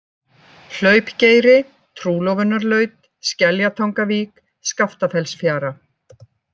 Hlaupgeiri, Trúlofunarlaut, Skeljatangavík, Skaftafellsfjara